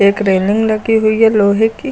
Eight railing लगी हुई है लोहे की।